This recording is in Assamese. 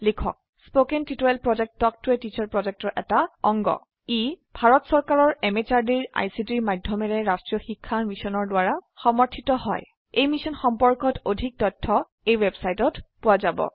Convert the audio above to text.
ই ভাৰত চৰকাৰৰ MHRDৰ ICTৰ মাধয়মেৰে ৰাস্ত্ৰীয় শিক্ষা মিছনৰ দ্ৱাৰা সমৰ্থিত হয় ই মিশ্যন সম্পৰ্কত অধিক তথ্য spoken hyphen tutorial dot org slash এনএমইআইচিত হাইফেন ইন্ট্ৰ ৱেবচাইটত পোৱা যাব